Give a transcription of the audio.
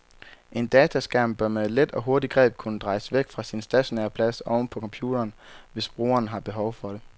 En dataskærm bør med et let og hurtigt greb kunne drejes væk fra sin stationære plads oven på computeren, hvis brugeren har behov for det.